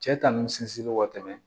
Cɛ ta nun sirilen ka tɛmɛ